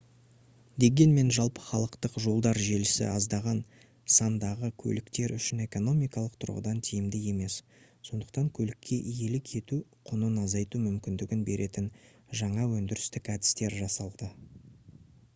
дегенмен жалпыхалықтық жолдар желісі аздаған сандағы көліктер үшін экономикалық тұрғыдан тиімді емес сондықтан көлікке иелік ету құнын азайту мүмкіндігін беретін жаңа өндірістік әдістер жасалды